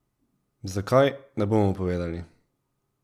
Zakaj, ne bomo povedali.